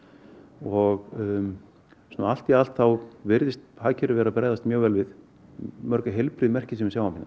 og svona allt í allt virðist hagkerfið vera að bregðast mjög vel við mörg heilbrigð merki sem við sjáum